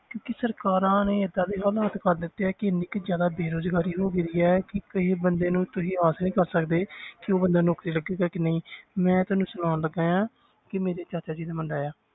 ਕਿਉਂਕਿ ਸਰਕਾਰਾਂ ਨੇ ਏਦਾਂ ਦੇ ਹਾਲਾਤ ਕਰ ਦਿੱਤੇ ਆ ਕਿ ਇੰਨੀ ਕੁ ਜ਼ਿਆਦਾ ਬੇਰੁਜ਼ਗਾਰੀ ਹੋ ਗਈ ਹੈ ਕਿ ਗ਼ਰੀਬ ਬੰਦੇ ਨੂੰ ਤੁਸੀਂ ਆਸ ਹੀ ਨੀ ਕਰ ਸਕਦੇ ਕਿ ਉਹ ਬੰਦਾ ਨੌਕਰੀ ਲੱਗੇਗਾ ਕਿ ਨਹੀਂ ਮੈਂ ਤੁਹਾਨੂੰ ਸੁਣਾਉਣ ਲੱਗਾ ਹਾਂ ਕਿ ਮੇਰੇ ਚਾਚਾ ਜੀ ਦਾ ਮੁੰਡਾ ਆ